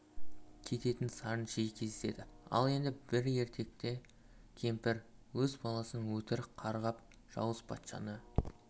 кететін сарын жиі кездеседі ал енді бір ертекте кемпір өз баласын өтірік қарғап жауыз патшаны